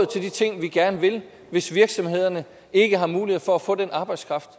til de ting vi gerne vil hvis virksomhederne ikke har mulighed for at få den arbejdskraft